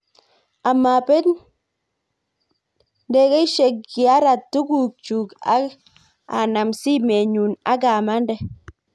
A mabeet nengeshyek kiarat tugukchuk ak a nam simet nyu ak a mande